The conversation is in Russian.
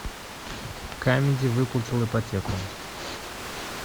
камеди выплатил ипотеку